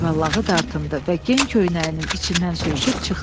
Cüvəllağı dartındı və gen köynəyinin içindən sürüşüb çıxdı.